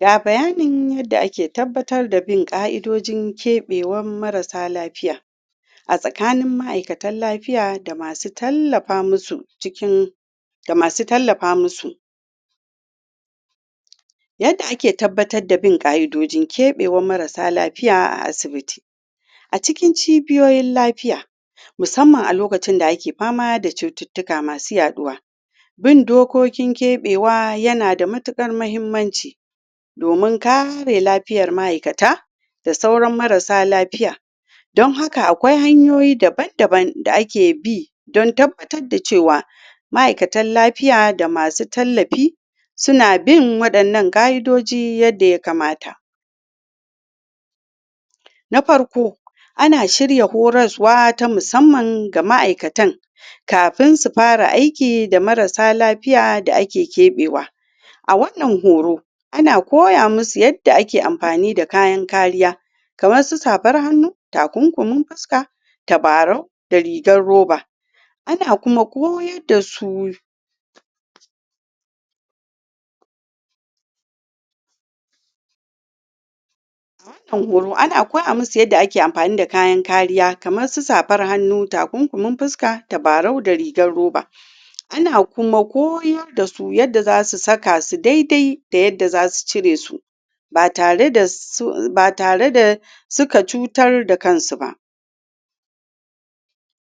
ga bayanin yadda ake tabbatar da bin ka'idodin ƙebewan marasa lafiya a tsakanin ma'aikatan lafiya da masu tallafa musu cikin da masu tallafa musu yadda ake tabbata da bin ka'idodin keɓewan marasa lafiya a asibiti a cikin cibiyoyin lafiya musamman lokacin da ake fama da cututuka masu yaɗuwa bin dokokin kebewa yana da matukar mahimmanci domin kare lafiyar ma'aikata da sauran marasalafiya dan haka akwai hanyoyi daban daban da ake bi dan tabata da cewa ma'aikatan lafiya da masu tallafi suna bin wadannan ka'idodi yanda ya kamata na farko, ana shirya horaswa ta musamman ga ma'aikatan kafin su fara aiki da marasa lafiya da ake ƙebewa a wannan horo ana koya musu yadda ake amfani da kayan kariya kamar su safar hannu takukumin fuska tabarau da rigan roba anan kuma koyar da su wannan horo ana koya musu yadda ake amfani da kayan kariya kaman su safar hannu, takunkumin fuska, tabarau da rigan roba ana kuma koyo da su yadda zasu saka su daidai da yadda za su cire su ba tare da suka cutar da kan su ba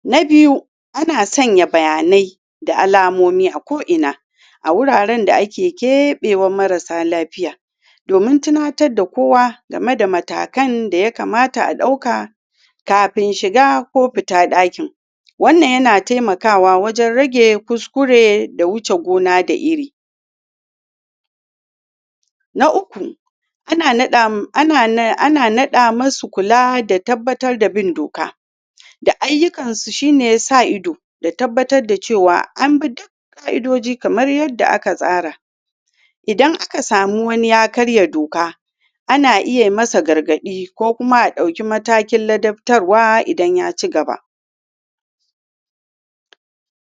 na biyu ana sanya bayanai da alamomi a ko ina a wuraren da ake kebewan marasa lafiya domin tinatar da kowa game da matakan da ya kamata a dauka kafin shiga ko fitan dakin wannan ya na taimakawa wajen rage kuskure da wuce gona da iri naukuana nada musu kula da tabattar da bin doka da ayukan su shi ne sa ido da tabbata da cewa duka ka'idodikamar yadda aka tsara idan aka samu wani ya karya doka ana iya masa gargadi ko kuma a dauki matakin ladaftarwa idan ya ci gaba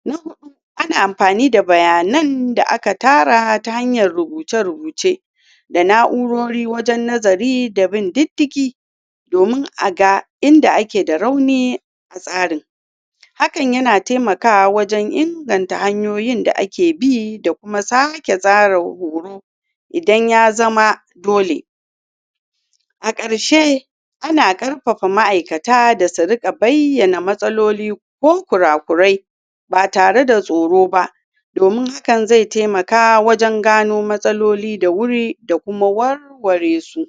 na hudu ana amfani da bayanan da aka tara ta hanya rubuce rubuce da naurori wajjen nazari da bin jijigi domin a ga inda ake da rauni a tsari hakan yana taimakawa wajen inganta hanyoyi da ake bi da kuma sake tsara horo idan ya zama dole a karshe ana karfafa ma'aikata da su rika bayyana matsaloli ko kura kurai ba tare da tsoro ba domin hakan zai taimaka wajen gano matsaloli da wuri da kuma warware su